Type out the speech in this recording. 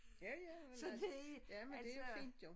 Ja ja men altså jamen det fint jo